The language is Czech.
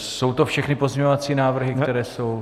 Jsou to všechny pozměňovací návrhy, které jsou?